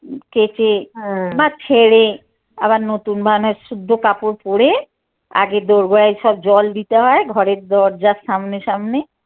কেঁচে বা ছেড়ে আবার নতুন বা শুদ্ধ কাপড় পড়ে আগে দোড়গোড়ায় সব জল দিতে হয় ঘরের দরজার সামনে সামনে